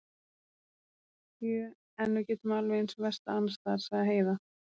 Sjö, en við getum alveg eins verslað annars staðar, sagði Heiða.